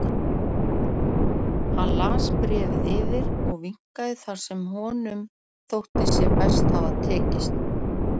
Hann las bréfið yfir og viknaði þar sem honum þótti sér best hafa tekist.